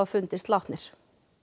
fundist látnir